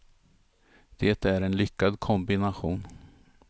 Det är en lyckad kombination.